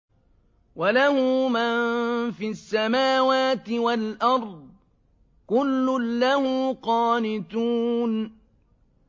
وَلَهُ مَن فِي السَّمَاوَاتِ وَالْأَرْضِ ۖ كُلٌّ لَّهُ قَانِتُونَ